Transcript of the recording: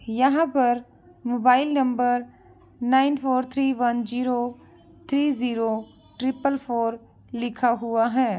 यहाँ पर mobile number nine four three one zero three zero triple four लिखा हुआ है।